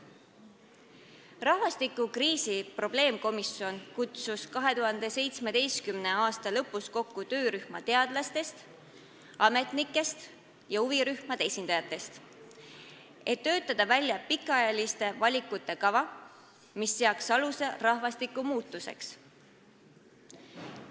Rahvastikukriisi probleemkomisjon kutsus 2017. aasta lõpus kokku teadlaste, ametnike ja huvirühmade esindajate töörühma, et töötada välja pikaajaliste valikute kava, mis looks aluse rahvastikumuutusele.